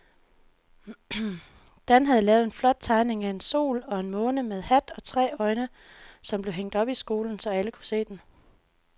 Dan havde lavet en flot tegning af en sol og en måne med hat og tre øjne, som blev hængt op i skolen, så alle kunne se den.